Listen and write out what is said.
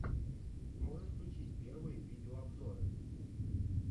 можешь включить первые видеообзоры